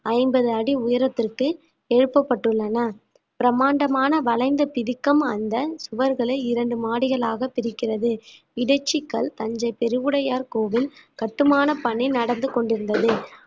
ஐம்பது அடி உயரத்திற்கு எழுப்பப்பட்டுள்ளன பிரம்மாண்டமான வளைந்த திதிக்கம் அந்த சுவர்களை இரண்டு மாடிகளாக பிரிக்கிறது இடைச்சிக்கல் தஞ்சை பெருவுடையார் கோவில் கட்டுமான பணி நடந்து கொண்டிருந்தது